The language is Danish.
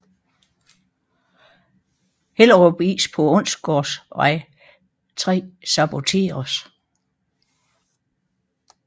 Hellerup Is på Onsgårdsvej 3 saboteres